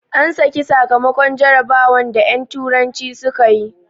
An saki sakamakon jarabawan da en turanci suka yi